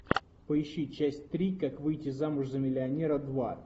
поищи часть три как выйти замуж за миллионера два